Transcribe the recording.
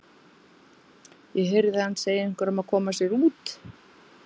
Ég heyrði hann segja einhverjum að koma sér út.